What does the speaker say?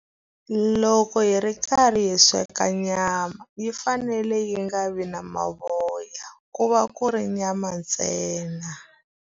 Loko hi ri karhi hi sweka nyama, yi fanele yi nga vi na mavoya. Ku va ku ri nyama ntsena.